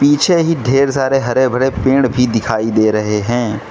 पीछे ही ढेर सारे हरे भरे पेड़ भी दिखाई दे रहे हैं।